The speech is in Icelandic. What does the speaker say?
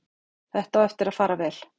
Þetta á eftir að fara vel.